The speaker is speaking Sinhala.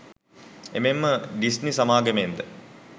එමෙන්ම ඩිස්නි සමාගමෙන්ද